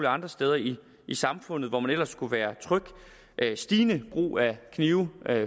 andre steder i samfundet hvor man ellers skulle være tryg stigende brug af knive